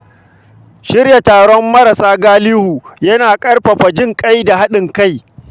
Shirya taron tallafa wa marasa galihu yana ƙarfafa jinƙai da haɗin kai.